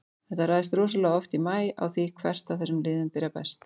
Þetta ræðst rosalega oft í maí á því hvert af þessum liðum byrjar best.